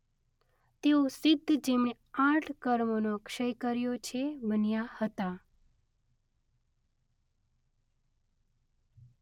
તેઓ સિદ્ધ જેમણે આઠ કર્મોનો ક્ષય કર્યો છે. બન્યા હતા.